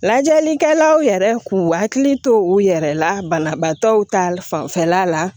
Lajɛlikɛlaw yɛrɛ k'u hakili to u yɛrɛ la banabaatɔw ta fanfɛla la